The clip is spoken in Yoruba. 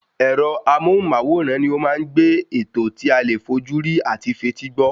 Ẹ̀rọ amóhùn-máwòrán ni ó ma ń gbé ètò tí alè fójúrí ati fetí gbọ́